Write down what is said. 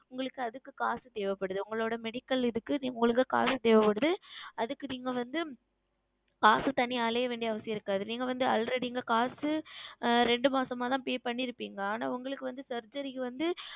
உங்களுக்கு அதுக்கு காசு தேவைப்படுகிறது உங்களுடைய Medical இதுக்கு உங்களுக்கு காசு தேவைப்படுகிறது அதுக்கு நீங்கள் வந்து காசு தேடி அலைய வேண்டிய அவசியம் இருக்காது நீங்கள் வந்து Already இங்கே காசு இரண்டு மாதம் தான் Pay செய்திருப்பீர்கள் ஆனால் உங்களுக்கு வந்து Surgery க்கு வந்து